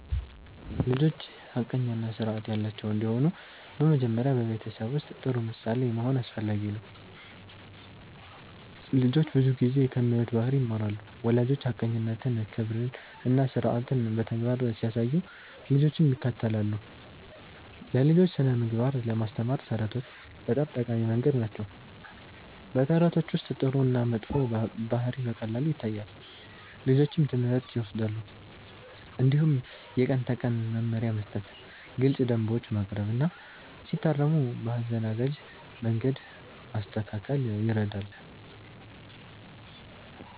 ልጆች ሐቀኛ እና ስርዓት ያላቸው እንዲሆኑ በመጀመሪያ በቤተሰብ ውስጥ ጥሩ ምሳሌ መሆን አስፈላጊ ነው። ልጆች ብዙ ጊዜ ከሚያዩት ባህሪ ይማራሉ። ወላጆች ሐቀኝነትን፣ ክብርን እና ስርዓትን በተግባር ሲያሳዩ ልጆችም ይከተላሉ። ለልጆች ስነ-ምግባር ለማስተማር ተረቶች በጣም ጠቃሚ መንገድ ናቸው። በተረቶች ውስጥ ጥሩ እና መጥፎ ባህሪ በቀላሉ ይታያል፣ ልጆችም ትምህርት ይወስዳሉ። እንዲሁም የቀን ተቀን መመሪያ መስጠት፣ ግልፅ ደንቦች ማቅረብ እና ሲታረሙ በአዘናጋጅ መንገድ ማስተካከል ይረዳል።